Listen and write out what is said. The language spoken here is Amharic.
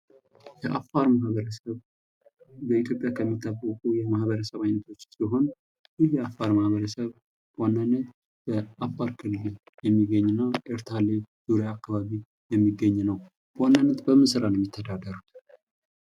የአፋር ማህበረሰብ በኢትዮጵያ ከሚታወቁ ማህበረሰቦች ውስጥ ሲሆን ይህ የአፋር ማህበረሰብ በዋነኝነት በአፋር ክልል የሚገኝ እና ኤርታሌ ዙሪያ አካባቢ የሚገኝ ነው ።በዋነኝነት በምን ስራ ነው ሚተዳደረው?